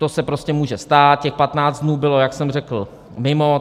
To se prostě může stát, těch 15 dnů bylo, jak jsem řekl, mimo.